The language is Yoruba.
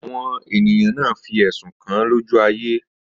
Àwọn ènìyàn náà fí ẹ̀sùn kàń lójú ayé